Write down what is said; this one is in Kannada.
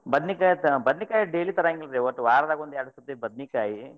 ಬದ್ನಿಕಾಯಿ, ಬದ್ನಿಕಾಯಿ daily ತರಂಗಿಲ್ರಿ ಒಂದ್ ವಾರ್ದಾಗ ಒಂದ್ಯಾರ್ಡ್ ಸತಿ ಬದ್ನಿಕಾಯಿ,